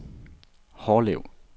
Hårlev